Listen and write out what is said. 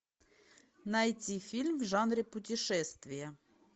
найти фильм в жанре путешествия